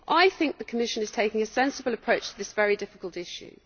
I think the Commission is taking a sensible approach to this very difficult issue.